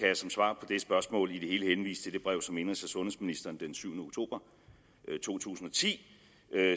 jeg som svar på det spørgsmål i det hele henvise til det brev som indenrigs og sundhedsministeren den syvende oktober to tusind og ti